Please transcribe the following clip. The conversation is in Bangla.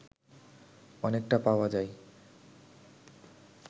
অনেকটা পাওয়া যায়